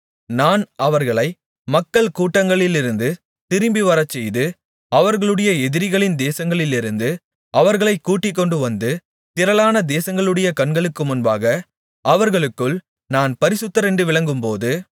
நான் அவர்களை மக்கள் கூட்டங்களிலிருந்து திரும்பிவரச்செய்து அவர்களுடைய எதிரிகளின் தேசங்களிலிருந்து அவர்களைக் கூட்டிக்கொண்டு வந்து திரளான தேசங்களுடைய கண்களுக்கு முன்பாக அவர்களுக்குள் நான் பரிசுத்தர் என்று விளங்கும்போது